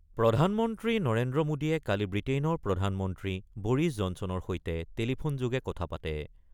প্ৰধানমন্ত্ৰী নৰেন্দ্ৰ মোদীয়ে কালি ব্ৰিটেইনৰ প্ৰধানমন্ত্ৰী বৰিছ জনছনৰ সৈতে টেলিফোনযোগে কথা পাতে।